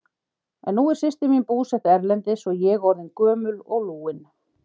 En nú er systir mín búsett erlendis og ég orðin gömul og lúin.